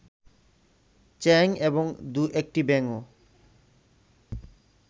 চ্যাং এবং দু-একটি ব্যাঙও